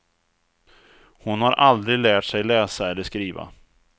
Hon har aldrig lärt sig läsa eller skriva.